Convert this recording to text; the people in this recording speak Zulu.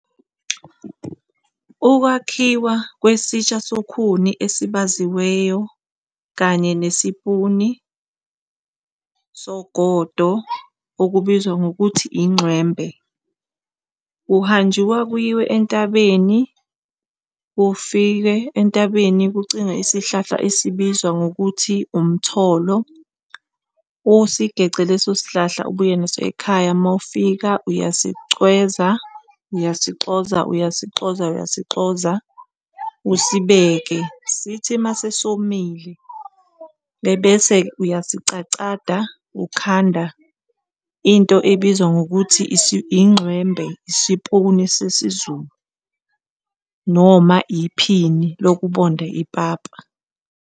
Ukwakhiwa kwesitsha sokhuni esibaziweyo kanye nesipuni sogodo okubizwa ngokuthi inxwembe. kuhanjiwa kuyiwe entabeni, ufike entabeni ucinge isihlahla esiyibizwa ngokuthi umtholo, usigece leso sihlahla ubuye naso ekhaya, mawufika uyasicweza, uyasixoza, uyasixoza, uyasixoza, usibeke, sithi mase somile bese uyasicacada ukhanda into ebizwa ngokuthi inxwembe isipuna sesiZulu, noma iphini lokubonda ipapa.